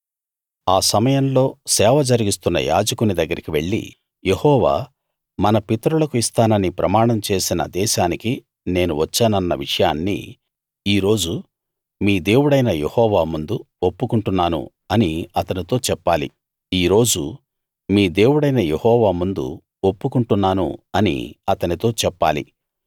ఆ సమయంలో సేవ జరిగిస్తున్న యాజకుని దగ్గరికి వెళ్లి యెహోవా మన పితరులకు ఇస్తానని ప్రమాణం చేసిన దేశానికి నేను వచ్చానన్న విషయాన్ని ఈ రోజు మీ దేవుడైన యెహోవా ముందు ఒప్పుకుంటున్నాను అని అతనితో చెప్పాలి